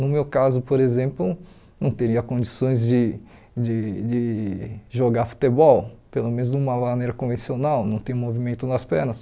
No meu caso, por exemplo, não teria condições de de de jogar futebol, pelo menos de uma maneira convencional, não tem movimento nas pernas.